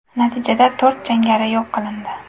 Natijada to‘rt jangari yo‘q qilindi.